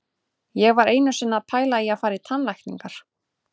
Ég var einu sinni að pæla í að fara í tannlækningar.